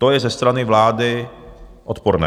To je ze strany vlády odporné.